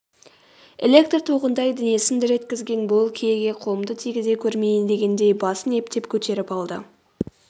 электр тоғындай денесін дір еткізген бұл киеге қолымды тигізе көрмейін дегендей басын ептеп көтеріп алды